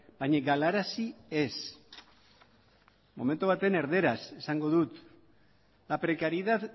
baina galarazi ez momentu batean erdaraz esango dut la precariedad